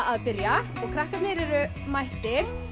að byrja og krakkarnir eru mættir